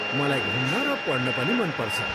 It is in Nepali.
मलाई घुम्न र पढ्न पनि मन पर्छ।